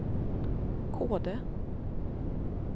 Kode